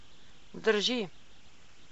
Drži.